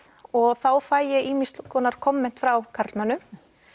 og þá fæ ég ýmis konar komment frá karlmönnum